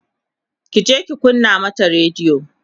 kije ki kunna mana radiyo!